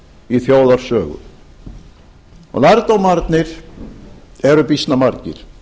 í þjóðarsögu lærdómarnir eru býsna margir